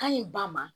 Ka ɲi ba ma